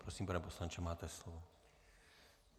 Prosím, pane poslanče, máte slovo.